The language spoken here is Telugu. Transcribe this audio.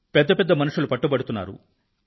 పెద్ద పెద్ద మనుషులు పట్టుబడుతున్నారు